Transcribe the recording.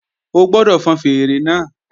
O gbọ́dọ̀ fọn fèèrè náà